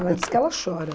Ela disse que ela chora.